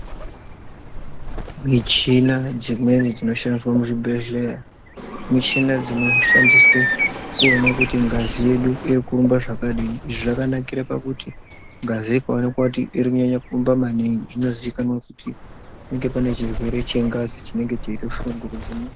Michina dzimweni dzinoshandiswe muchibhehlera michina dzinoshandiswe kuone kuti ngazi yedu iri kurumba zvakadini izvi zvakanakire pakuti ngazi ikoaonekwa kuti iri kunyanye kurumba maningi zvinoziikanwa kuti kunge pane chirweree chengazi chiri kushungurudza munhu.